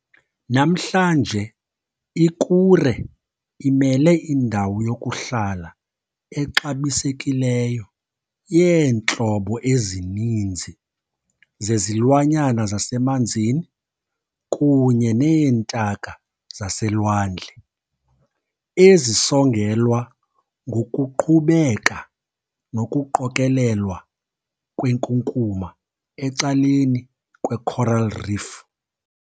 Namhlanje i-Kure imele indawo yokuhlala exabisekileyo yeentlobo ezininzi zezilwanyana zasemanzini kunye neentaka zaselwandle, ezisongelwa ngokuqhubeka nokuqokelelwa kwenkunkuma ecaleni kwe-coral reef.